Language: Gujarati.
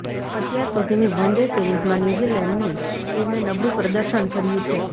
અત્યાર સુધીની વનડે સિરીઝમાં ન્યૂઝિલેન્ડની ટીમે નબળું પ્રદર્શન કર્યું છે